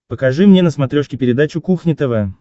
покажи мне на смотрешке передачу кухня тв